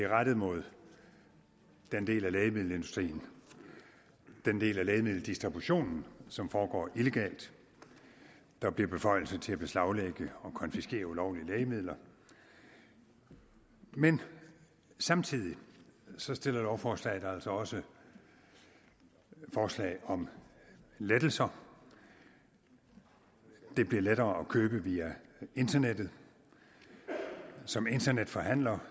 er rettet mod den del af lægemiddelindustrien den del af lægemiddeldistributionen som foregår illegalt og der bliver beføjelse til at beslaglægge og konfiskere ulovlige lægemidler men samtidig stiller lovforslaget altså også forslag om lettelser det bliver lettere at købe via internettet som internetforhandler